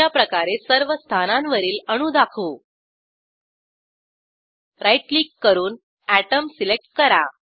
अशाप्रकारे सर्व स्थानांवरील अणू दाखवू राईट क्लिक करून अटोम सिलेक्ट करा